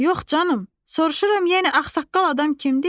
Yox canım, soruşuram yenə ağsaqqal adam kimdir?